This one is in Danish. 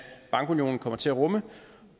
bankunionen kommer til at rumme